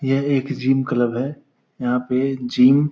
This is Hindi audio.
यह एक जिम क्लब है। यहाँ पे जिम --